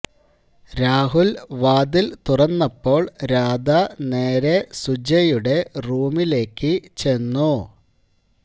രാഹുൽ വാതിൽ തുറന്നപ്പോൾ രാധ നേരെ സുജയുടെ റൂമിലേക്ക് ചെന്നു